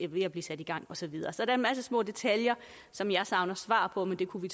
ved at blive sat i gang og så videre så der er en masse små detaljer som jeg savner svar på men det kunne vi